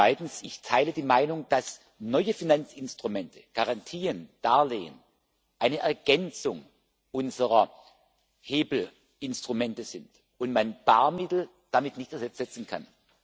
Zweitens Ich teile die Meinung, dass neue Finanzinstrumente Garantien, Darlehen eine Ergänzung unserer Hebelinstrumente sind und man Barmittel damit nicht ersetzen kann.